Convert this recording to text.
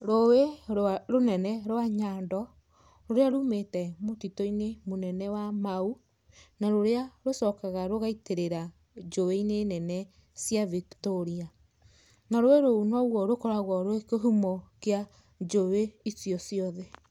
Rũĩ rũnene rwa Nyando, rũrĩa rumĩte mũtitũ-inĩ wa Mau na rũrĩa rũgacoka rũgaitĩrĩra njũĩ-inĩ nene cia Victoria. Na rũĩ rũu noruo rũkoragwo rwĩ kĩhumo kĩa njũe icio ciothe.